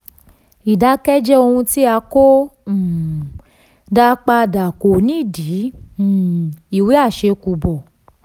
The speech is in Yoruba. ìdákẹ́jẹ ohun tí a ko um dá padà kò ní di um ìwé àṣẹ̀kùbọ̀.